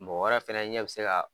Mɔgɔ wɛrɛ fɛnɛ ɲɛ bi se ka